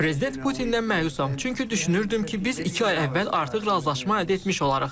Prezident Putindən məyusam, çünki düşünürdüm ki, biz iki ay əvvəl artıq razılaşma əldə etmiş olarıq.